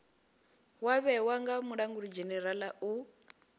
wa vhewa nga mulangulidzhenerala u